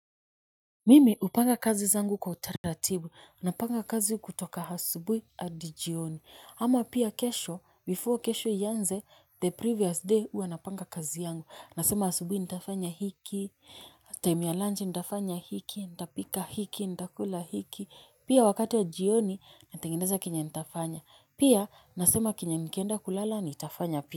Mimi upanga kazi zangu kwa utaratibu, napanga kazi kutoka hasubui hadi jioni, ama pia kesho, before kesho iyanze, the previous day ua napanga kazi yangu, nasema hasubui nitafanya hiki, time ya lunch nitafanya hiki, nita pika hiki, nita kula hiki, pia wakati wa jioni, natengeneza kenye nitafanya, pia nasema kenye nikienda kulala nitafanya pia.